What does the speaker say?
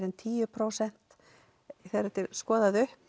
en tíu prósent þegar þetta er skoðað upp